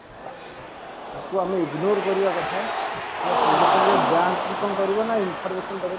ତାକୁ ଆମେ ignore କରିବା କଥା ୟା ସଙ୍ଗେ ସଙ୍ଗେ bank କୁ କଣ କରିବ ନା information ଦବ